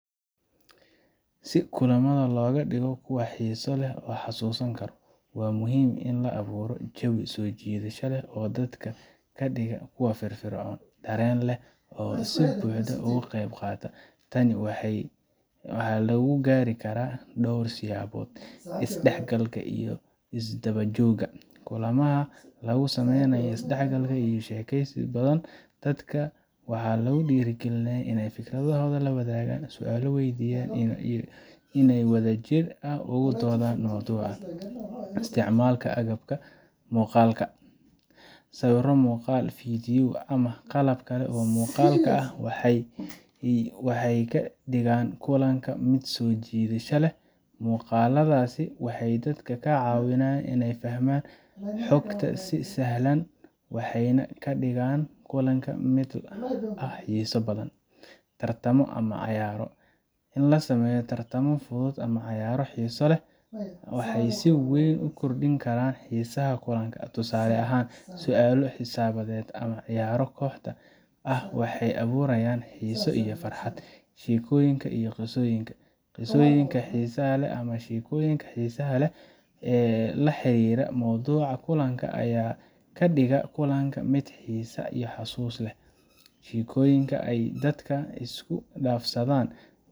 Si kulamada looga dhigo kuwo xiiso leh oo la xasuusan karo, waxaa muhiim ah in la abuuro jawi soo jiidasho leh oo dadka ka dhiga kuwo firfircoon, dareen leh, oo si buuxda uga qeybqaata. Tani waxaa lagu gaari karaa dhowr siyaabood: Isdhexgalka iyo Isdaba joogga: Kulamada waxaa lagu sameeyaa isdhexgal iyo wada sheekeysi. Dadka waxaa lagu dhiirigeliyaa inay fikradahooda la wadaagaan, su'aalo weydiiyaan, iyo inay si wadajir ah uga doodayaan mowduuca. Isticmaalka Agabka Muuqaalka: Sawirro, muuqaalada fiidiyowga, ama qalabka kale ee muuqaalka ah waxay ka dhigaan kulanka mid soo jiidasho leh. Muuqaaladaasi waxay dadka ka caawiyaan inay fahmaan xogta si sahlan, waxayna ka dhigaan kulanka mid ka xiiso badan. Tartamo ama Cayaaro: In la sameeyo tartamo fudud ama cayaaro xiiso leh ayaa si weyn u kordhin karan xiisaha kulanka. Tusaale ahaan, su'aalo xisaabeed ama ciyaaro kooxda ah waxay abuurayaan xiise iyo farxad. Sheekooyinka iyo Qisooyinka: Qisooyinka xiisaha leh ama sheekooyinka xiisaha leh ee la xiriira mowduuca kulanka ayaa ka dhigaya kulanka mid xiisa xasuus leh. Sheekooyinka ay dadka isku dhaafsadaan.